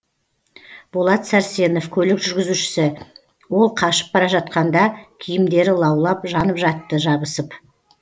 болат сәрсенов көлік жүргізушісі ол қашып бара жатқанда киімдері лаулап жанып жатты жабысып